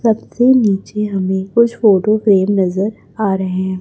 सबसे नीचे हमें कुछ फोटो फ्रेम नजर आ रहे हैं।